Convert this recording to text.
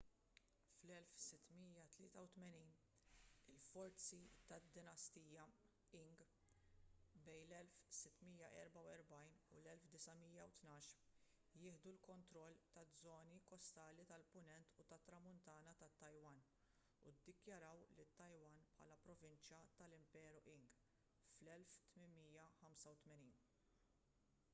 fl-1683 il-forzi tad-dinastija qing 1644-1912 jieħdu l-kontroll taż-żoni kostali tal-punent u tat-tramuntana tat-taiwan u ddikjaraw lit-taiwan bħala provinċja tal-imperu qing fl-1885